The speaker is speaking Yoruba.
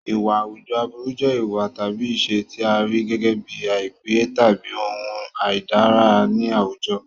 Ìwà àwùjọ aburú jẹ́ ìwà tàbí ìṣe tí a rí gẹ́gẹ́ bíi àìpé tàbí ohun àìdára ní àwùjọ.